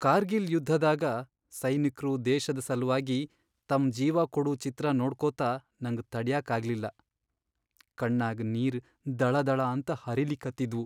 ಕಾರ್ಗಿಲ್ ಯುದ್ಧದಾಗ ಸೈನಿಕ್ರು ದೇಶದ್ ಸಲ್ವಾಗಿ ತಮ್ ಜೀವಾ ಕೊಡೂ ಚಿತ್ರಾ ನೋಡ್ಕೋತ ನಂಗ್ ತಡ್ಯಾಕಾಗ್ಲಿಲ್ಲಾ.. ಕಣ್ಣಾಗ್ ನೀರ್ ದಳಾದಳಾಂತ ಹರಿಲಿಕತ್ತಿದ್ವು.